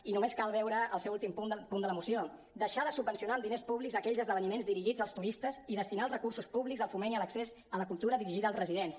i només cal veure el seu últim punt de la moció deixar de subvencionar amb diners públics aquells esdeveniments dirigits als turistes i destinar els recursos públics al foment i a l’accés a la cultura dirigida als residents